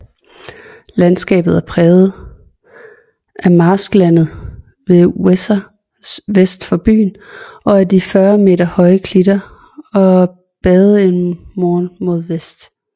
Landskabet er præget af marsklandet ved Weser vest for byen og af de 40m høje klitter og Badenermoor mod vest